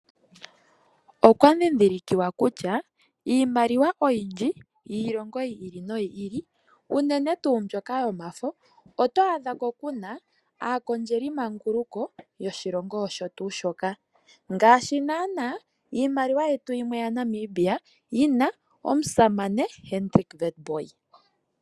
Okwadhidhilkiwa kutya iimaliwa oyindji yiilongo yi ili noyi ili unene tuu mbyoka yomafo oto adhako kuna aakondjelimanguluko yoshilongo osho tuu shoka ngaashi naana iimaliwa yetu yimwe yaNamibia yina omusamane Hendrick Witbooi .